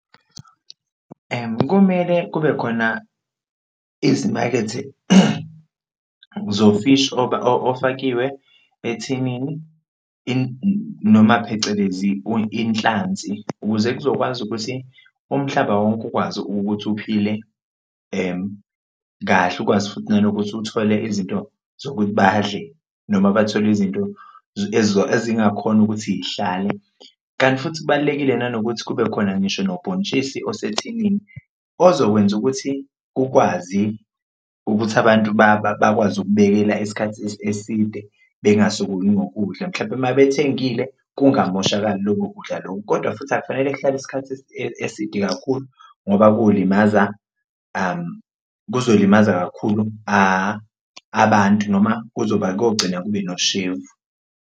Kumele kube khona izimakethe zofishi ofakiwe ethinini noma phecelezi inhlanzi ukuze kuzokwazi ukuthi umhlaba wonke ukwazi ukuthi uphile kahle, ukwazi futhi nanokuthi uthole izinto zokuthi badle noma bathole izinto ezingakhona ukuthi yihlale. Kanti futhi kubalulekile nanokuthi kube khona ngisho nobhontshisi osethinini ozokwenza ukuthi kukwazi ukuthi abantu bakwazi ukubekela isikhathi eside bengasokoli ngokudla, mhlampe uma bethengile kungamoshakali lokho kudla loko. Kodwa futhi akufanele kuhlale isikhathi eside kakhulu ngoba kolimaza, kuzolimaza kakhulu abantu noma kogcina kube noshefu.